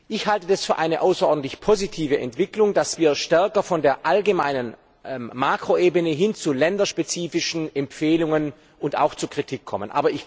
Ich halte das für eine außerordentlich positive Entwicklung, dass wir stärker von der allgemeinen Makroebene hin zu länderspezifischen Empfehlungen und auch zu Kritik kommen.